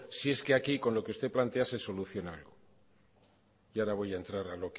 si es que aquí con lo que usted plantease soluciona algo y ahora voy a entrar